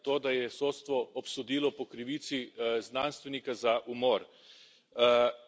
Novič, glede na to, da je sodstvo obsodilo po krivici znanstvenika za umor.